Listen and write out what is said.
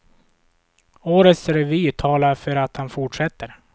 Årets revy talar för att han fortsätter.